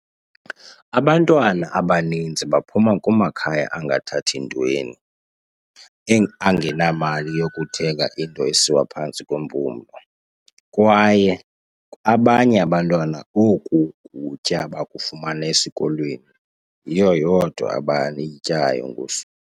"Abantwana abaninzi baphuma kumakhaya angathathi ntweni, angenamali yokuthenga into esiwa phantsi kwempumlo, kwaye abanye abantwana oku kutya bakufumana esikolweni, yiyo yodwa abayityayo ngosuku."